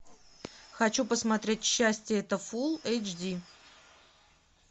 хочу посмотреть счастье это фулл эйч ди